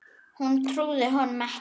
Hún trúði honum ekki.